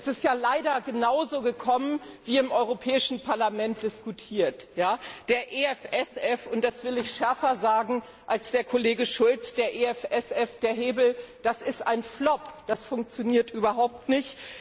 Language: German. Es ist ja leider genauso gekommen, wie im Europäischen Parlament diskutiert wurde Der EFSF und das will ich schärfer sagen als der Kollege Schulz der Hebel ist ein Flop, das funktioniert überhaupt nicht!